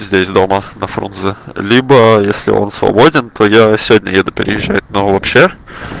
здесь дома на фрунзе либо если он свободен то я сегодня еду переезжать но вообще